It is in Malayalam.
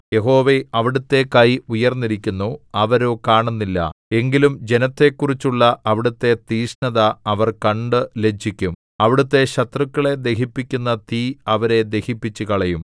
യഹോവേ അവിടുത്തെ കൈ ഉയർന്നിരിക്കുന്നു അവരോ കാണുന്നില്ല എങ്കിലും ജനത്തെക്കുറിച്ചുള്ള അവിടുത്തെ തീക്ഷ്ണത അവർ കണ്ടു ലജ്ജിക്കും അവിടുത്തെ ശത്രുക്കളെ ദഹിപ്പിക്കുന്ന തീ അവരെ ദഹിപ്പിച്ചുകളയും